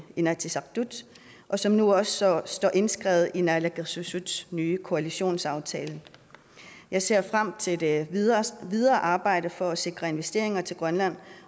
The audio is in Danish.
inatsisartut og som nu også står står indskrevet i naalakkersuisuts nye koalitionsaftale jeg ser frem til det videre videre arbejde for at sikre investeringer til grønland